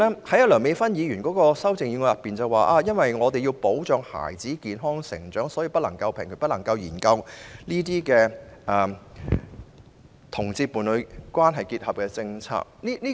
第三，梁美芬議員的修正案指因為要保障孩子健康成長，所以不能平權、不能研究讓同志締結伴侶關係的政策。